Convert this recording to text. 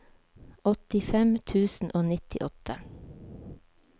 åttifem tusen og nittiåtte